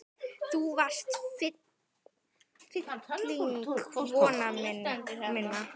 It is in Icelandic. Þú varst fylling vona minna.